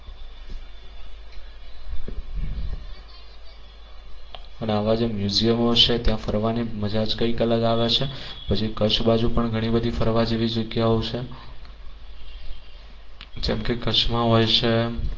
અને આવા જે museum છે ત્યાં ફરવાની મજા જ કઈક અલગ આવે છે પછી કચ્છ બાજુ પણ ઘણી બધી ફરવા જેવી જગ્યાઓ છે જેમ કે કચ્છ માં હોય છે